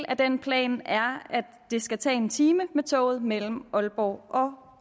af den plan er at det skal tage en time med toget mellem aalborg og